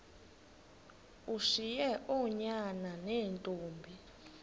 ushiye oonyana neentombi